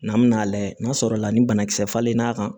N'an bɛna lajɛ n'a sɔrɔla ni banakisɛ falen n'a kan